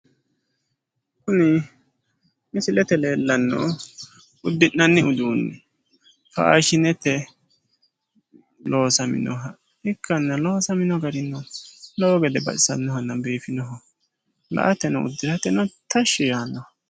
kuni misilete leellanohu uddi'nanni udiinni faashinete loosaminoha ikkanna loosamino garino lowo gede baxisannohanna biifinohanna la'ateno uddirateno tashshi yaannoha .